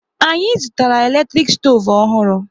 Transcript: Anyị zụtara eletrik stoovu ọhụrụ